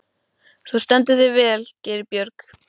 Þú stendur þig vel, Geirbjörg!